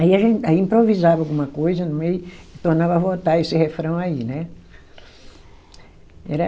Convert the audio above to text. Aí a gente, aí improvisava alguma coisa no meio e tornava a voltar esse refrão aí, né? Era